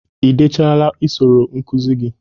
Ị dechala usoro nkụzi gi?